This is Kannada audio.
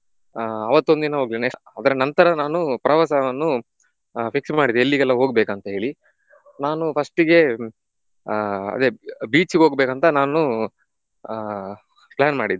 ಅವತ್ತೊಂದಿನ ಹೋಗ್ಲಿಲ್ಲ next ಅದರ ನಂತರ ನಾನು ಪ್ರವಾಸವನ್ನು ಆಹ್ fix ಮಾಡಿದೆ ಎಲ್ಲಿಗೆಲ್ಲ ಹೋಗಬೇಕಂತ ಹೇಳಿ. ನಾನು first ಇಗೆ ಆಹ್ ಅದೇ beach ಇಗೆ ಹೋಗಬೇಕಂತ ನಾನು ಆಹ್ plan ಮಾಡಿದ್ದೆ.